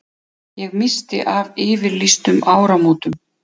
Ég missti af yfirlýstum áramótum.